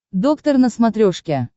доктор на смотрешке